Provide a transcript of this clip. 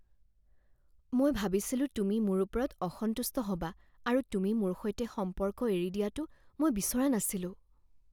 মই ভাবিছিলোঁ তুমি মোৰ ওপৰত অসন্তুষ্ট হ'বা আৰু তুমি মোৰ সৈতে সম্পৰ্ক এৰি দিয়াটো মই বিচৰা নাছিলোঁ